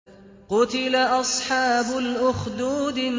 قُتِلَ أَصْحَابُ الْأُخْدُودِ